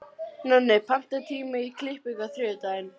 Nonni, pantaðu tíma í klippingu á þriðjudaginn.